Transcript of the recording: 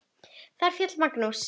Þar féll Magnús.